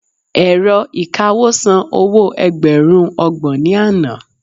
ẹ̀rọ ìkawó san owo ẹgbẹrun ọgbọ̀n ni Ana